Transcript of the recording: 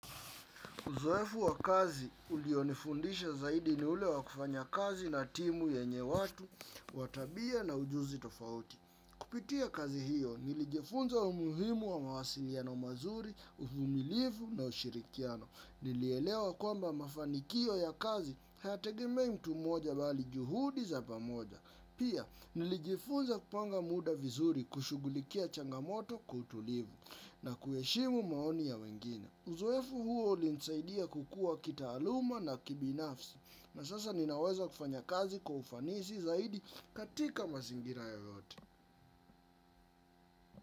Uzoefu wa kazi, ulionifundisha zaidi ni ule wa kufanya kazi na timu yenye watu wa tabia na ujuzi tofauti. Kupitia kazi hiyo, nilijifunza umuhimu wa mawasiliano mazuri, uvumilivu na ushirikiano. Nilielewa kwamba mafanikio ya kazi hayatengemei mtu mmoja, bali juhudi za pamoja. Pia, nilijifunza kupanga muda vizuri kushugulikia changamoto kwa utulivu na kuheshimu maoni ya wengine. Uzoefu huo ulinisaidia kukua kitaaluma na kibinafsi, na sasa ninaweza kufanya kazi kwa ufanisi zaidi katika mazingira yoyote.